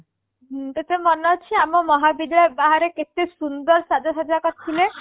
ତତେ ମନେ ଅଛି ଆମ ମହାବିଦ୍ୟାଳୟ ବାହାରେ କେତେ ସୁନ୍ଦର ସାଜସଜ୍ୟା କରିଥିଲେ